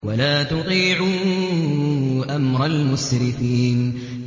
وَلَا تُطِيعُوا أَمْرَ الْمُسْرِفِينَ